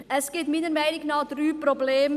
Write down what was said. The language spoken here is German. Es gibt meiner Meinung nach drei Probleme;